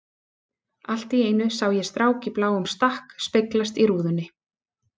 Allt í einu sá ég strák í bláum stakk speglast í rúðunni.